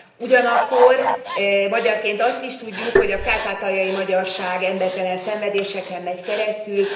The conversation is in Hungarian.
Ugyanakkor magyarként azt is tudjuk, hogy a kárpátaljai magyarság embertelen szenvedéseken megy keresztül.